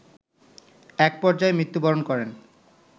একপর্যায়ে মৃত্যুবরণ করেন